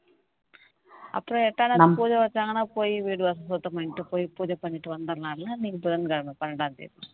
அப்புறம் எட்டாம் தேதி பூஜை வச்சாங்கன்னா போயி வீடு வாசல் சுத்தம் பண்ணிட்டு போய் பூஜை பண்ணிட்டு வந்திறலாம்ல அன்னைக்கு புதன்கிழமை பன்னிரண்டாம் தேதி